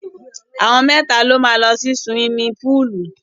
Àwọn mẹ́ta ló máa lọ sí suwimi púùlù.